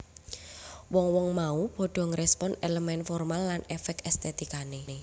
Wong wong mau padha ngrespon elemen formal lan efek estetikane